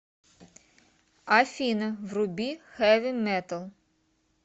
афина вруби хэви метал